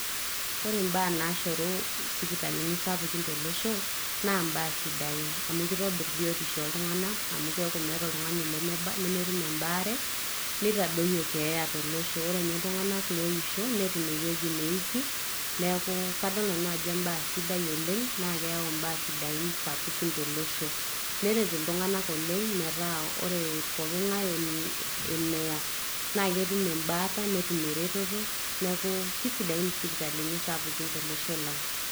Ore imbaa nashoru isipitalini sapukin tolosho, na imbaa sidain. Amu kitobirr biotisho oltung'anak, amu keeku meeta oltung'ani lemetum ebaare, nitadoyio keeya tolosho. Amu orenye iltung'anak loisho, netum ewueji neiki. Neeku kadol nanu ajo ebae sidai oleng' na keeu imbaa sidain sapukin tolosho. Neret iltung'anak oleng' metaa ore pooking'ae oning' eneya, naketum embaata netum ereteto, neku kisidain isipitalini sapukin tolosho lang'.